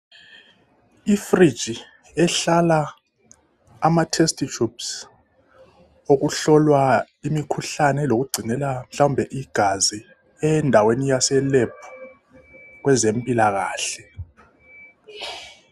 Ifriji ehlala amatestitshubhusi, okuhlolwa imikhuhlane lokugcinela mhlawumbe igazi endaweni yase lebhu kwezempilakhle.